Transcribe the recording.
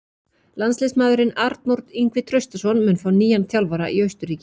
Landsliðsmaðurinn Arnór Ingvi Traustason mun fá nýjan þjálfara í Austurríki.